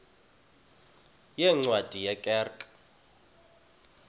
yeencwadi ye kerk